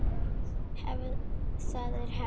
Það er hefð!